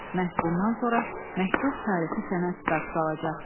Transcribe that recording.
Məhz bundan sonra məktub tarixi sənəd statusu alacaqdı.